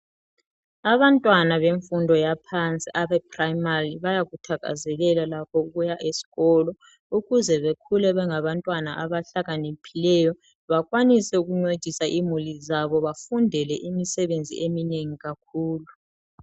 Abantwana bemfundo yaphansi abeprimary bayakuthakazelela labo ukuya esikolo. Ukuze bekhule bengabantwana abahlakaniphileyo bakwanise ukuncedisa imuli zabo bafundele imisebenzi eminengi kakhulu.